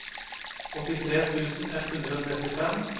åttitre tusen ett hundre og trettifem